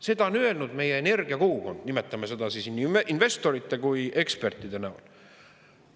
Seda on öelnud meie energiakogukond, nimetame seda nii, nii investorite kui ekspertide näol.